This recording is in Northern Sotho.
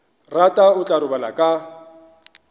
rata o tla robala ka